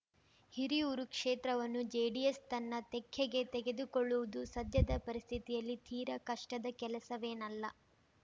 ಹಿರಿಯೂರು ಕ್ಷೇತ್ರವನ್ನು ಜೆಡಿಎಸ್‌ ತನ್ನ ತೆಕ್ಕೆಗೆ ತೆಗೆದುಕೊಳ್ಳುವುದು ಸದ್ಯದ ಪರಿಸ್ಥಿತಿಯಲ್ಲಿ ತೀರಾ ಕಷ್ಟದ ಕೆಲಸವೇನಲ್ಲ